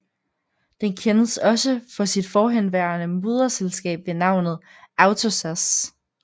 Den kendes også for sit forhenværende moderselskab ved navnet AvtoZAZ